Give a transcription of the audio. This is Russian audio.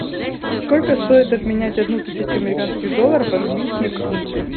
сколько стоит обменять одну тысячу американских долларов в английские фунты